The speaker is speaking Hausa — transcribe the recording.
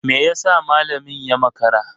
Me yasa malamin ya makara?